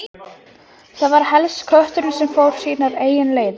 Hann stóð með vopnið og beið þess sem verða vildi.